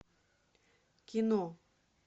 кино